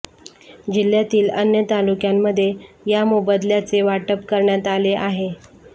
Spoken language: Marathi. जिल्ह्यातील अन्य तालुक्यांमध्ये या मोबदल्याचे वाटप करण्यात आले आहे